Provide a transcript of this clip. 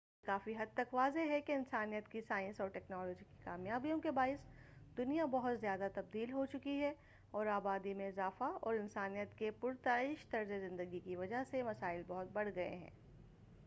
یہ کافی حد تک واضح ہے کہ انسانیت کی سائنسی اور ٹیکنالوجی کی کامیابیوں کے باعث دُنیا بہت زیادہ تبدیل ہوچُکی ہے اور آبادی میں اضافہ اور انسانیت کے پُرتعیش طرزِ ندگی کی وجہ سے مسائل بہت بڑھ گئے ہیں